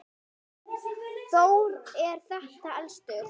Þór er þeirra elstur.